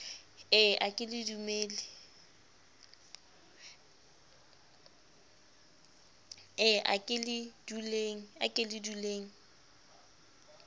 e a ke le duleng